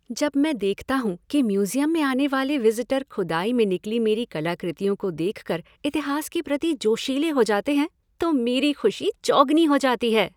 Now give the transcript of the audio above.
जब मैं देखता हूँ कि म्यूज़ियम में आने वाले विज़िटर खुदाई में निकली मेरी कलाकृतियों को देख कर इतिहास के प्रति जोशीले हो जाते हैं तो मेरी खुशी चौगुनी हो जाती है।